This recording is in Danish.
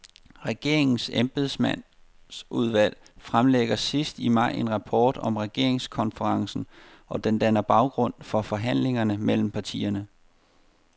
Regeringens embedsmandsudvalg fremlægger sidst i maj en rapport om regeringskonferencen, og den danner baggrund for forhandlingerne mellem partierne.